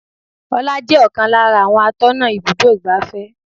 Ọlá jẹ́ ọ̀kan lára àwọn atọ́nà ibùdó igbàfẹ́.